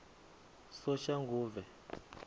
soshanguve